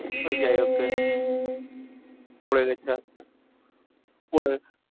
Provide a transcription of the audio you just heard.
ওই যাই হোক গে ।